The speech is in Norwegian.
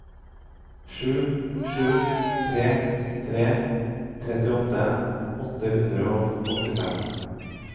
sju sju tre tre trettiåtte åtte hundre og åttifem